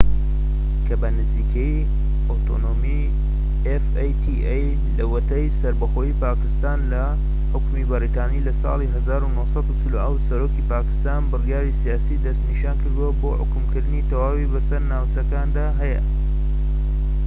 لەوەتەی سەربەخۆیی پاکستان لە حوکمی بەریتانی لە ساڵی 1947 سەرۆکی پاکستان بریکاری سیاسی دەسنیشانکردووە بۆ حوکمکردنی fata کە بە نزیکەیی ئۆتۆنۆمی تەواوی بەسەر ناوچەکاندا هەیە